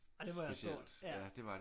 Det var stort